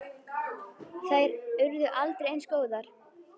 Þær urðu aldrei eins góðar.